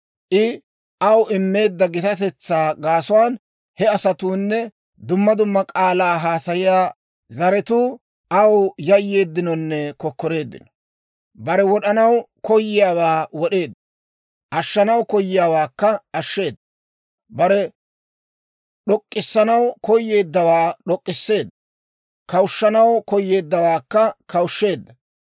I aw immeedda gitatetsaa gaasuwaan he asatuunne dumma dumma k'aalaa haasayiyaa zaratuu aw yayyeeddinonne kokkoreeddino. Bare wod'anaw koyiyaawaa wod'eedda; ashshanaw koyiyaawaakka ashsheeda; bare d'ok'k'issanaw koyeeddawaakka d'ok'k'isseedda; kawushshanaw koyeeddawaakka kawushsheedda.